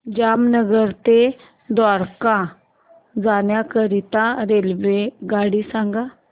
जामनगर ते द्वारका जाण्याकरीता रेल्वेगाडी सांग